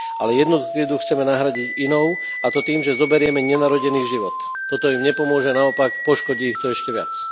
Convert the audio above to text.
Ale jednu krivdu chceme nahradiť inou, a to tým, že zoberieme nenarodený život. Toto im nepomôže, naopak, poškodí ich to ešte viac.